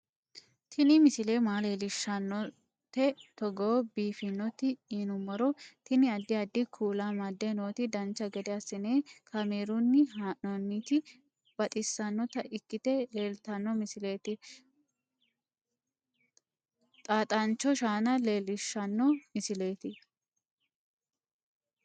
Tini misile maa leellishshannote togo biiffinoti yinummoro tini. addi addi kuula amadde nooti dancha gede assine kaamerunni haa'noonniti baxissannota ikkite leeltanno misileeti xaaxancho shaana leellishshanno misileeti